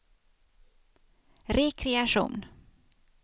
rekreation